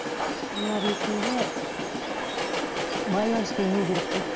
ана ретінде байланысты үзу керек қой мхм